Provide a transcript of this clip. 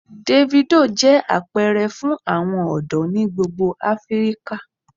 Davido jẹ apẹrẹ fun awọn ọdọ ni gbogbo Afirika.